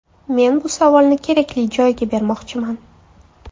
Men bu savolni kerakli joyga bermoqchiman.